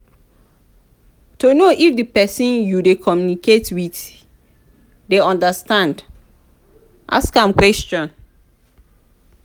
to know if di persin you de communicate with dey understand ask am questions